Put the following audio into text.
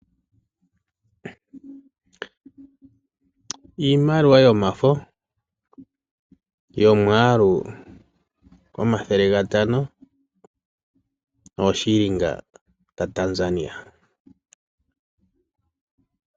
Iimaliwa yomafo yomwaalu omathele gatano noothilinga dhaTanzania.